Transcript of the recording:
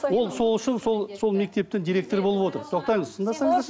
ол сол үшін сол сол мектептің директоры болып отыр тоқтаңыз тыңдасаңыздаршы